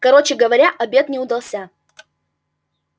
короче говоря обед не удался